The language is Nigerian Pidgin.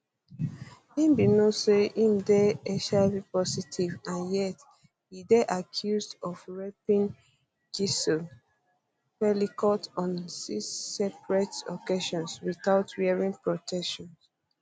im bin know say im dey dey hivpositive and yet e dey accused um of raping gisle pelicot on six separate um occasions without wearing protection